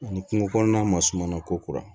Ani kungo kɔnɔna masuma kora